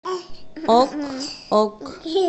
ок ок